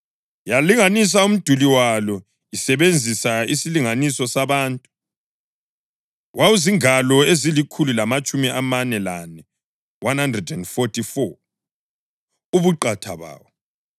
Yalinganisa umduli walo isebenzisa isilinganiso sabantu, wawuzingalo ezilikhulu lamatshumi amane lane (144) ubuqatha bawo.